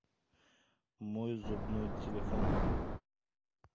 мой зубной телефон